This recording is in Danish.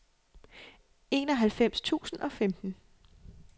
enoghalvfems tusind og femten